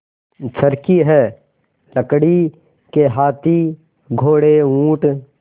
चर्खी है लकड़ी के हाथी घोड़े ऊँट